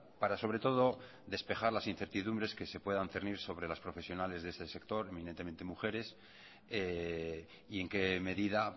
sobre todo para despejar las incertidumbres que se puedan cernir sobre los profesionales de este sector inminentemente mujeres y en qué medida